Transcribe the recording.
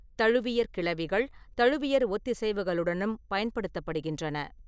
தழுவியற் கிளவிகள் தழுவியற் ஒத்திசைவுகளுடனும் பயன்படுத்தப்படுகின்றன.